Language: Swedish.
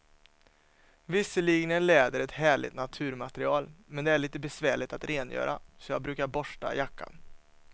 Visserligen är läder ett härligt naturmaterial, men det är lite besvärligt att rengöra, så jag brukar borsta jackan.